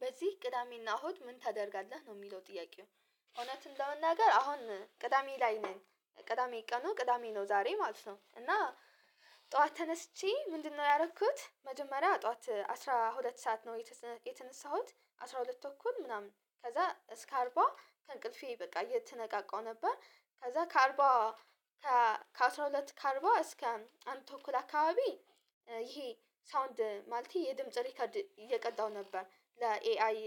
በዚህ ቅዳሜና እሁድ ምን ታደርጋለህ ነው የሚለው ጥያቄው? እውነቱን ለመናገር አሁን ቅዳሜ ላይ ነን ቅዳሜ ቀኑ ቅዳሜ ነው ዛሬ ማለት ነው። እና ጠዋት ተነስቼ ምንድነው ያደረኩት መጀመሪያ ጠዋት አስራ ሁለት ሰዓት ነው የተነሳሁት አስራ ሁለት እኩል ምናምን ከዛ እስከ አርባ ከእንቅልፌ በቃ የተነቃቃው ነበር። ከዛ ከአርባ ከአሥራ ሁለት ከርባ እስከ አንድ ተኩል አካባቢ ይሄ ሳውንድ ማልቴ የድምጽ ሪከርድ እየቀዳሁ ነበር። ለኤአይ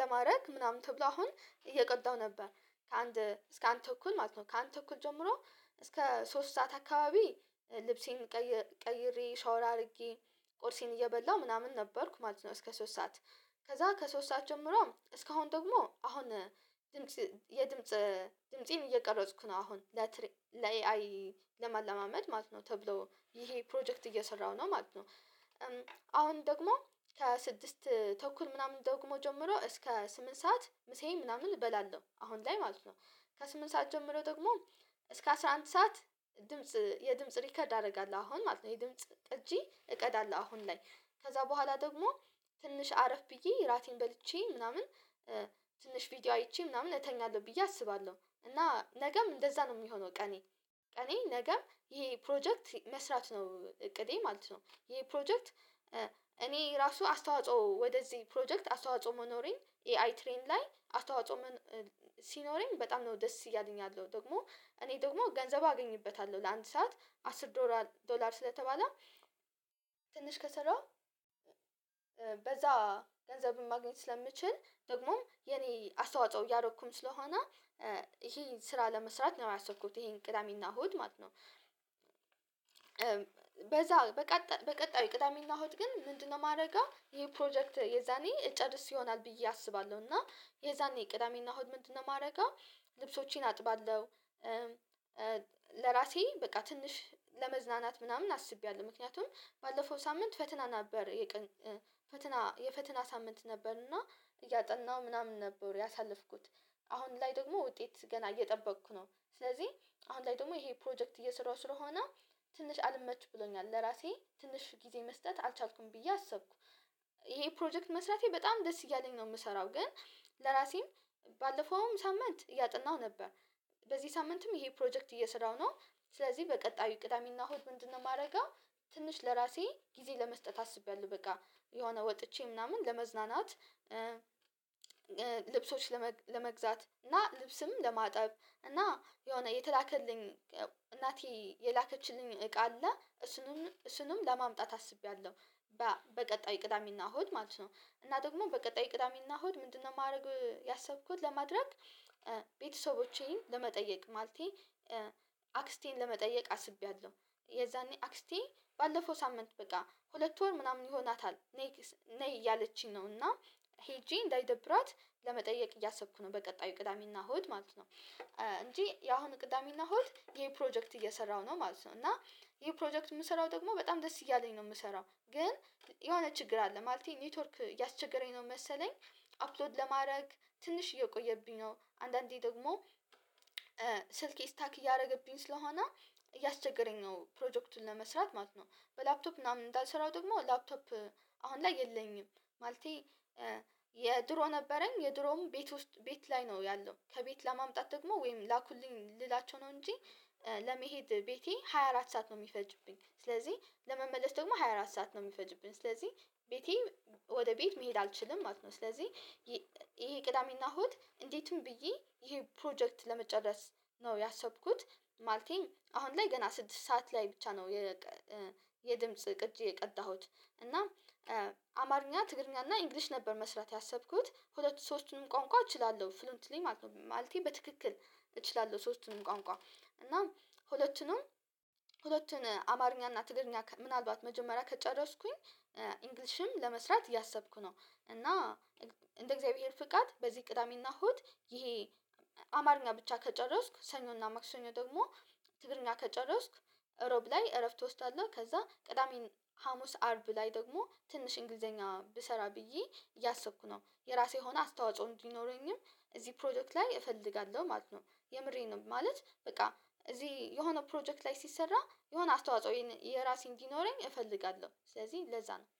ለማድረግ ምናምን ተብሎ አሁን እየቀዳው ነበር። ከአንድ እስከ አንድ ተኩል ማለት ነው። ከአንድ ተኩል ጀምሮ እስከ ሶስት ሰዓት አካባቢ። ልብሴን ቀይሬ ሻወር አድርጌ ቁርሴን እየበላሁ ምናምን ነበርኩ ማለት ነው። እስከ ሶስት ሰዓት። ከዛ ከሶስት ሰዓት ጀምሮ እስካሁን ደግሞ አሁን የድምጽ ድምፄን እየቀረጽኩ ነው አሁን ለትሪ ለኤአይ ለማለማመድ ማለት ነው። ተብሎ ይሄ ፕሮጀክት እየሰራሁ ነው ማለት ነው። አሁን ደግሞ ከስድስት ተኩል ምናምን ደግሞ ጀምሮ እስከ ስምንት ሰዓት ምሳዬን ምናምን እበላለሁ አሁን ላይ ማለት ነው። ከስምንት ሰዓት ጀምሮ ደግሞ እስከ አስራ አንድ ሰዓት ድምጽ የድምጽ ሪከርድ አደርጋለሁ አሁን ማለት ነው የድምጽ እጂ እቀዳለሁ አሁን ላይ። ከዛ በኋላ ደግሞ ትንሽ አረፍ ብዬ እራቴን በልቼ ምናምን ትንሽ ቪዲዮ አይቼ ምናምን እተኛለሁ ብዬ አስባለሁ። እና ነገም እንደዛ ነው የሚሆነው ቀኔ። ቀኔ ነገም ይሄ ፕሮጀክት መስራት ነው እቅዴ ማለት ነው። ይሄ ፕሮጀክት እኔ ራሱ አስተዋጽኦ ወደዚህ ፕሮጀክት አስተዋጽኦ መኖሬን ኤአይ ትሬን ላይ አስተዋጽኦ። ሲኖረንኝ በጣም ነው ደስ እያለኝ ያለው ደግሞ እኔ ደግሞ ገንዘቡ አገኝበታለሁ ለአንድ ሰዓት አስር ዶላር ስለተባለ ትንሽ ከሰራሁ በዛ ገንዘብን ማግኘት ስለሚችል ደግሞም የኔ አስተዋጽኦ እያደረኩም ስለሆነ። ይሄን ስራ ለመስራት ነው ያሰብኩት ይሄን ቅዳሜና እሁድ ማለት ነው። በዛ በቀጣዩ ቅዳሜና እሁድ ግን ምንድነው የማደርገው? ይሄ ፕሮጀክት የዛኔ እጨርስ ይሆናል ብዬ አስባለሁ። እና የዛኔ ቅዳሜና እሁድ ምንድነው የማደርገው? ልብሶቼን አጥባለሁ። ለራሴ በቃ ትንሽ ለመዝናናት ምናምን አስቤያለሁ ምክንያቱም ባለፈው ሳምንት ፈተና ነበር የፈተና የፈተና ሳምንት ነበርና እያጠናሁ ምናምን ነበር ያሳለፍኩት። አሁን ላይ ደግሞ ውጤት ገና እየጠበቅኩ ነው። ስለዚህ አሁን ላይ ደግሞ ይሄ ፕሮጀክት እየሰራሁ ስለሆነ ትንሽ አልመች ብሎኛል ለራሴ ትንሽ ጊዜ መስጠት አልቻልኩም ብዬ አሰብኩ። ይሄ ፕሮጀክት መስራቴ በጣም ደስ እያለኝ ነው የምሰራው። ግን ለራሴም ባለፈውም ሳምንት እያጠናሁ ነበር። በዚህ ሳምንትም ይሄ ፕሮጀክት እየሰራው ነው። ስለዚህ በቀጣዩ ቅዳሜና ሆድ ምንድነው የማደርገው? ትንሽ ለራሴ ጊዜ ለመስጠት አስቤያለሁ። በቃ የሆነ ወጥቼ ምናምን ለመዝናናት። ልብሶች ለመግዛት እና ልብስም ለማጠብ እና የሆነ የተላከልኝ እናቴ የላከችልኝ እቃ አለ። እሱንም ለማምጣት አስቤያለሁ። በቀጣይ ቅዳሜና እሁድ ማለት ነው። እና ደግሞ በቀጣይ ቅዳሜና እሁድ ምንድነው የማደርገው? ያሰብኩት ለማድረግ ቤተሰቦቼን ለመጠየቅ ማለቴ ለመጠየቅ አስቤያለሁ። የዛኔ አክስቴ ባለፈው ሳምንት በቃ ሁለት ወር ምናምን ይሆናታል። ነይ እያለችኝ ነው እና ሄጄ እንዳይደብራት ለመጠየቅ እያሰብኩ ነው። በቀጣዩ ቅዳሜና እሁድ ማለት ነው እንጂ ያሁኑ ቅዳሜና እሁድ ይሄንፕሮጀክት እየሰራሁ ነው ማለት ነው። እና ይሄ ፕሮጀክት የምሰራው ደግሞ በጣም ደስ እያለኝ ነው የምሰራው። ግን የሆነ ችግር አለ ማለቴ ኔትወርክ እያስቸገረኝ ነው መሰለኝ። አፕሎድ ለማድረግ ትንሽ እየቆየብኝ ነው አንዳንዴ ደግሞ ስልኬ ስታክ እያደረገብኝ ስለሆነ እያስቸገረኝ ነው ፕሮጀክቱን ለመስራት ማለት ነው። በላፕቶፕ ምናምን እንዳልሰራው ደግሞ ላፕቶፕ አሁን ላይ የለኝም። ማለቴ የድሮ ነበረኝ የድሮም ቤት ውስጥ ቤት ላይ ነው ያለው ከቤት ለማምጣት ደግሞ ወይም ላኩልኝ ልላቸው ነው እንጂ። ለመሄድ ቤቴ ሃያ አራት ሰዓት ነው የሚፈጅብኝ ስለዚህ ለመመለስ ደግሞ ሃያ አራት ሰዓት ነው የሚፈጅብኝ ስለዚህ። ቤቴ ወደ ቤት መሄድ አልችልም ማለት ነው። ስለዚህ ይሄ ቅዳሜና እሁድ እንዴትም ብዬ ይሄ ፕሮጀክት ለመጨረስ ነው ያሰብኩት። ማለቴም አሁን ላይ ገና ስድስት ሰዓት ላይ ብቻ ነው የ የድምጽ ቅጭ የቀጣሁት። እና አማርኛ ትግርኛ እና ኢንግሊሽ ነበር መስራት ያሰብኩት ሁለቱ ሰዎችንም ቆንቋ እችላለሁ ፍሉንትሊ ማለት ነው። ማለቴን በትክክል እችላለሁ ሶስቱንም ቋንቋ እና ሁለቱንም ሁለቱን አማርኛ እና ትግርኛ ምናልባት መጀመሪያ ከጨረስኩኝ ኢንግሊሽም ለመስራት እያሰብኩ ነው። እና እንደ እግዚአብሔር ፍቃድ በዚህ ቅዳሜና ሆት ይሄ አማርኛ ብቻ ከጨረስኩ ሰኞና መክሰኞ ደግሞ ትግርኛ ከጨረስኩ። እሮብ ላይ እረፍት ውስጥ አለ ከዛ ቅዳሜ ሀሙስ አርብ ላይ ደግሞ ትንሽ እንግሊዘኛ ብሰራ ብዬ እያሰብኩ ነው። የራሴ ሆና አስተዋጽኦ እንዲኖረኝም እዚህ ፕሮዳክት ላይ እፈልጋለሁ ማለት ነው። የምሬን ነው ማለት በቃ እዚህ የሆነ ፕሮጀክት ላይ ሲሰራ የሆነ አስተዋጽኦ የራሴ እንዲኖረኝ እፈልጋለሁ ስለዚህ ለዛ ነው።